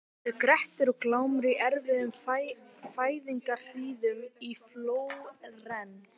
Nú eru Grettir og Glámur í erfiðum fæðingarhríðum í Flórens.